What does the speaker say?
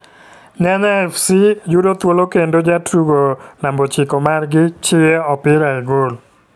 Nyanya fc yudo thuolo kendo jatugo namab ochiko mar gi chiyo opirae gol.